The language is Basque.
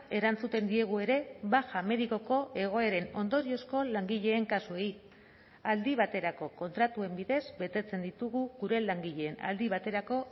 erantzuten diegu ere baja medikoko egoeren ondoriozko langileen kasuei aldi baterako kontratuen bidez betetzen ditugu gure langileen aldi baterako